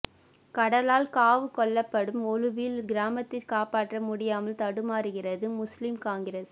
கடலால் காவு கொள்ளப்படும் ஒலுவில் கிராமத்தை காப்பாற்ற முடியாமல் தடுமாறுகிறது முஸ்லிம் காங்கிரஸ்